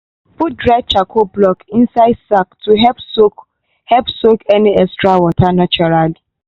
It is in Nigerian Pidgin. put dry charcoal block inside sack to help soak help soak any extra water naturally.